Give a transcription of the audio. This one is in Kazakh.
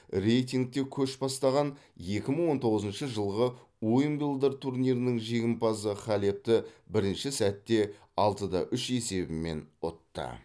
рейтингте көш бастаған екі мың он тоғызыншы жылғы уимблдон турнирінің жеңімпазы халепті бірінші сетте алты да үш есебімен ұтты